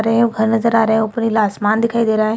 घर नजर आ रहे हैं उपर नीला आसमान दिखाई दे रहा है।